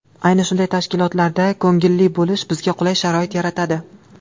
Ayni shunday tashkilotlarda ko‘ngilli bo‘lish bizga qulay sharoit yaratadi.